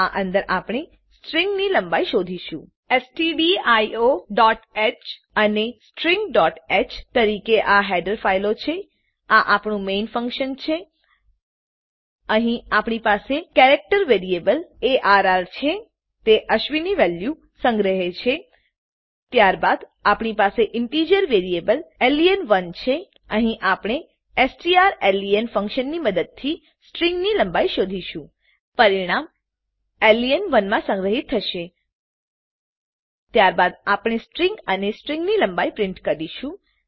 આ અંદર આપણે સ્ટ્રીંગની લંબાઈ શોધીશું stdioહ અને stringહ તરીકે આ હેડર ફાઈલો છે આ આપણું મેઇન ફંક્શન છે અહીં આપણી પાસે કેરેક્ટર વેરીએબલ અર્ર છે તે અશ્વિની વેલ્યું સંગ્રહે છે ત્યારબાદ આપણી પાસે ઇન્ટીજર વેરીએબલ લેન1 છે અહીં આપણે સ્ટ્ર્લેન ફંક્શનની મદદથી સ્ટ્રીંગની લંબાઈ શોધીશું પરિણામ લેન1 માં સંગ્રહીત થશે ત્યારબાદ આપણે સ્ટ્રીંગ અને સ્ટ્રીંગની લંબાઈ પ્રીંટ કરીશું